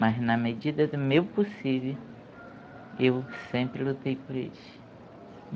Mas na medida do meu possível, eu sempre lutei por eles.